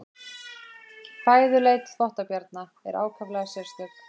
Fæðuleit þvottabjarna er ákaflega sérstök.